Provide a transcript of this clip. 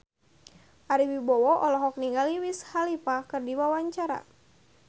Ari Wibowo olohok ningali Wiz Khalifa keur diwawancara